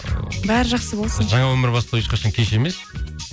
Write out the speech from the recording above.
ыыы бәрі жақсы болсын жаңа өмір бастау ешқашан кеш емес